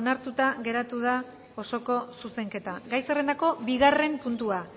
onartuta geratu da osoko zuzenketa gai zerrendako bigarren puntua